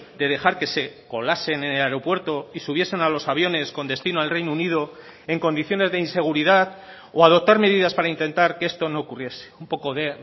de dejar que se colasen en el aeropuerto y subiesen a los aviones con destino al reino unido en condiciones de inseguridad o adoptar medidas para intentar que esto no ocurriese un poco de